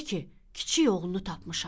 De ki, kiçik oğlunu tapmışam.